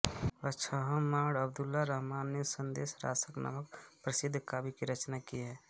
अद्दहमाण अब्दुल रहमान ने संदेश रासक नामक प्रसिद्ध काव्य की रचना की है